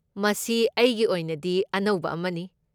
ꯃꯁꯤ ꯑꯩꯒꯤ ꯑꯣꯏꯅꯗꯤ ꯑꯅꯧꯕ ꯑꯃꯅꯤ꯫